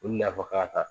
Olu na fɔ k'a ta